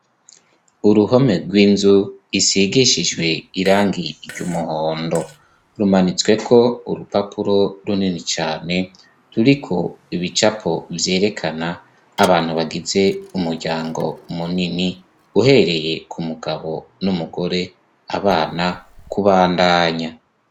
uruhome rw'inzu isigishijwe irangi ry'umuhondo rumanitsweko urupapuro runini cane ruriko ibicapo vyerekana abantu bagize umuryango munini uhereye ku mugabo n'umugore abana kubandanya